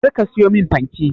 Kar ka siyo min fanke.